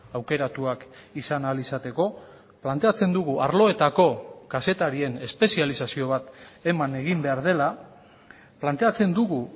aukeratuak izan ahal izateko planteatzen dugu arloetako kazetarien espezializazio bat eman egin behar dela planteatzen dugu